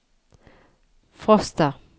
Frosta